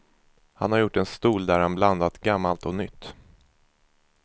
Han har gjort en stol där han blandat gammalt och nytt.